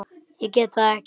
Ég get það ekki!